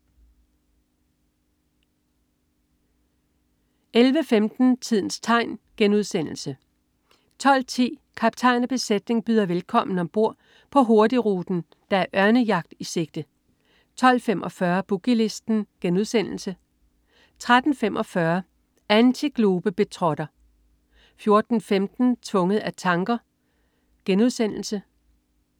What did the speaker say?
11.00 Børneblæksprutten* 11.15 Tidens tegn* 12.10 Kaptajn og besætning byder velkommen. Om bord på Hurtigruten er der ørnejagt i sigte 12.45 Boogie Listen* 13.45 Antiglobetrotter 14.15 Tvunget af tanker*